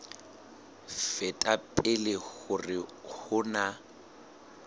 feta pele hore ho na